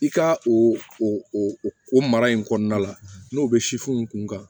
I ka o o o mara in kɔnɔna la n'o bɛ kun kan